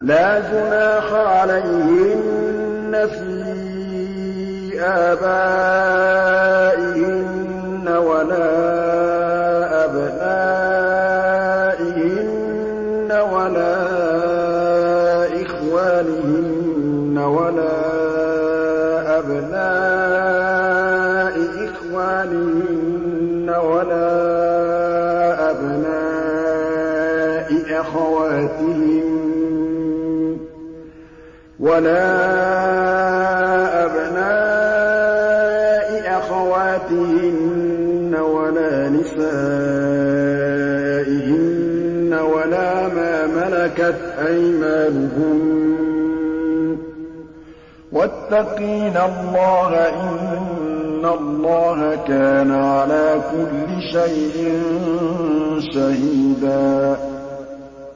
لَّا جُنَاحَ عَلَيْهِنَّ فِي آبَائِهِنَّ وَلَا أَبْنَائِهِنَّ وَلَا إِخْوَانِهِنَّ وَلَا أَبْنَاءِ إِخْوَانِهِنَّ وَلَا أَبْنَاءِ أَخَوَاتِهِنَّ وَلَا نِسَائِهِنَّ وَلَا مَا مَلَكَتْ أَيْمَانُهُنَّ ۗ وَاتَّقِينَ اللَّهَ ۚ إِنَّ اللَّهَ كَانَ عَلَىٰ كُلِّ شَيْءٍ شَهِيدًا